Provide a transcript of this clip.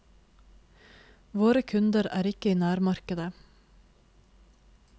Våre kunder er ikke i nærmarkedet.